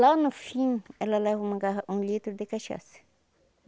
Lá no fim, ela leva uma garra um litro de cachaça.